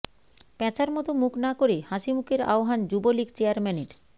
প্যাঁচার মতো মুখ না করে হাসিমুখের আহ্বান যুবলীগ চেয়ারম্যানের